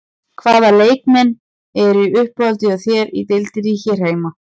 Hvaða leikmenn eru í uppáhaldi hjá þér í deildinni hér heima?